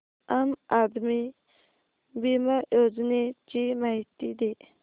आम आदमी बिमा योजने ची माहिती दे